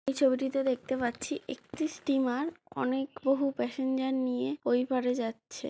এই ছবিটিতে দেখতে পাচ্ছিএকটি স্টিমার অনেক বহু প্যাসেঞ্জার নিয়ে ওই পাড়ে যাচ্ছে।